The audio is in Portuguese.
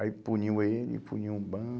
Aí puniu ele, puniu o